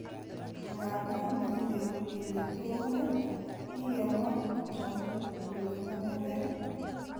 Nga da makingen kole tou nee, kikemwa tupchondit kole name gee.